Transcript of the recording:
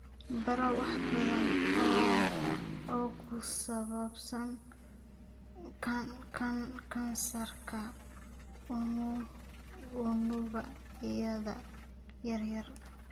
Baro wax badan oo ku saabsan kansarka unugyada yaryar.